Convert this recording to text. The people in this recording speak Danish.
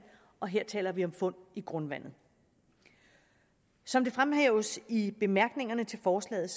og her taler vi om fund i grundvandet som det fremhæves i bemærkningerne til forslaget